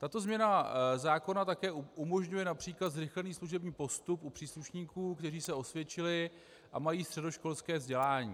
Tato změna zákona také umožňuje například zrychlený služební postup u příslušníků, kteří se osvědčili a mají středoškolské vzdělání.